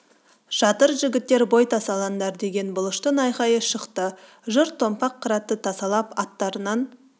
жатыр жігіттер бой тасаландар деген бұлыштың айқайы шықты жұрт томпақ қыратты тасалап аттарынан